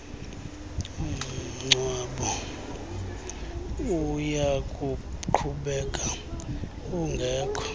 mngcwabo uyakuqhubeka ungekho